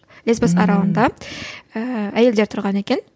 лесбос аралында ііі әйелдер тұрған екен